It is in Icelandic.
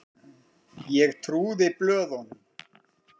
Ég trúði blöðunum.